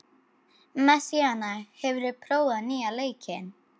Messíana, hefur þú prófað nýja leikinn?